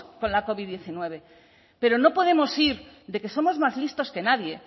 con la covid hemeretzi pero no podemos ir de que somos más listos que nadie